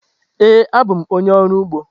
Ee, abụ m onye ọrụ ugbo.